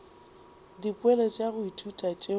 dipoelo tša go ithuta tšeo